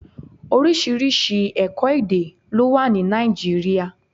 Oríṣiríṣi ẹ̀kọ́-èdè ló wà ní Nàìjíríà.